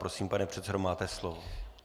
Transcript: Prosím, pane předsedo, máte slovo.